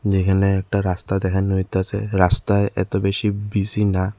যেইখানে একটা রাস্তা দেখান হইতাসে রাস্তায় এত বেশি বিজি না।